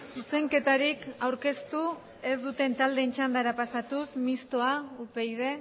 zuzenketarik aurkeztu ez dute taldeen txandara pasatuz mistoa upyd